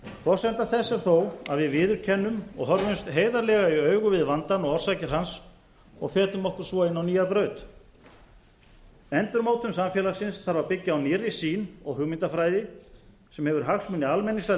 forsenda þess er þó að við viðurkennum og horfumst heiðarlega í augu við vandann og orsakir hans og fetum okkur svo inn á nýja braut endurmótun samfélagsins þarf að byggja á nýrri sýn og hugmyndafræði sem hefur hagsmuni almennings að